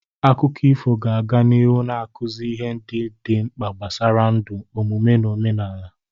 Akụkọ ifo ga-aga n'ihu na-akụzi ihe dị mkpa gbasara ndụ, omume na omenala.